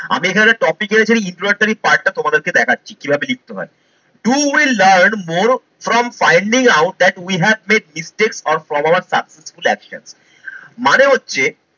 আমি এখানে একটা topic এ এখানে introductory part টা তোমাদের কে দেখাছি কি ভাবে লিখতে হয়। Do we learn more from finding out that we have made distance or successful action মানে হচ্ছে